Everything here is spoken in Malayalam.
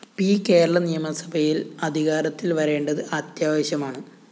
പി കേരള നിയമസഭയില്‍ അധികാരത്തില്‍ വരേണ്ടത് അത്യാവശ്യമാണ്